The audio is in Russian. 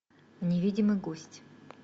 невидимый гость